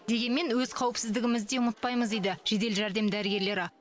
дегенмен өз қауіпсіздігімізді де ұмытпаймыз дейді жедел жәрдем дәрігерлері